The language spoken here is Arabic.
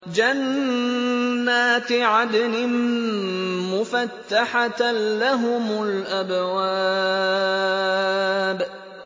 جَنَّاتِ عَدْنٍ مُّفَتَّحَةً لَّهُمُ الْأَبْوَابُ